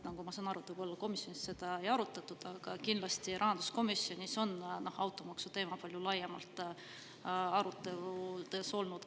Nagu ma saan aru, seda komisjonis võib-olla ei arutatud, aga kindlasti on rahanduskomisjonis olnud varem automaksuteema palju laiem arutelu.